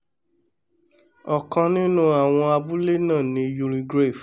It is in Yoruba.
ọ̀̀kan nínú àwọn abúlé náà ni youlegrave